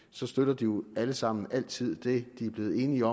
så støtter de jo alle sammen altid det de er blevet enige